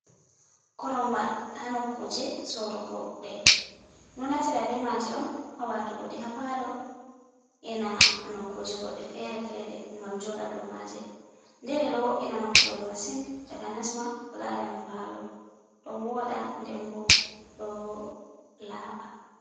Koronwal, haa nokkuje soorugo ɗe, ɗo naftira be maaje on haa watugo ɗe haa paalo e na nokkuje goɗɗe fere-fere ngam jooɗa doo maaje, nde ɗe ɗo wo’ina nokkure masin takanas ma ko laara ni paalo, ɗo wooɗa nden bo ɗo laaɓa.